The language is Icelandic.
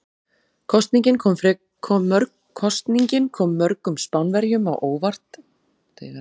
Kosningin kom mörgum Spánverjum á óvart en einn sagði: Þetta er mjög undarlegt.